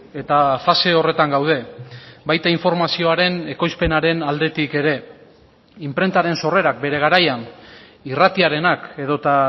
eta fase horretan gaude baita informazioaren ekoizpenaren aldetik ere inprentaren sorrerak bere garaian irratiarenak edota